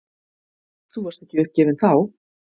Þú varst ekki uppgefinn þá.